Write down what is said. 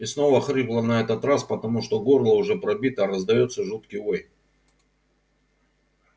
и снова хрипло на этот раз потому что горло уже пробито раздаётся жуткий вой